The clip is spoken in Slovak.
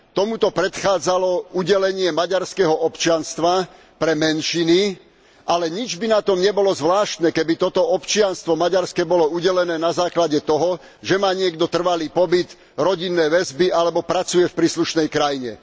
Tomuto predchádzalo udelenie maďarského občianstva pre menšiny, ale nič by na tom nebolo zvláštne, keby toto občianstvo maďarské bolo udelené na základe toho, že má niekto trvalý pobyt, rodinné väzby alebo pracuje v príslušnej krajine.